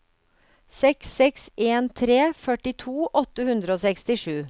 seks seks en tre førtito åtte hundre og sekstisju